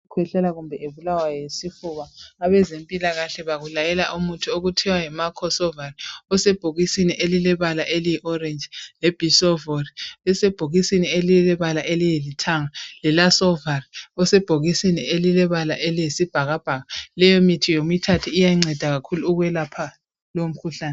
,kwehlela kumbe ebulawa yisifuna. Abezempilakahle bakulayela umuthi okuthiwa yiMacosolvan osebhokisini elilebala eliyi orange, leBisolvon lisebhokisini elilebala elilithanga, le Lasolvan osebhokisini elilebala eliyisibhakabhaka. Leyo mithi yomithathu iyanceda kakhulu ukwelapha lo mkhuhlane.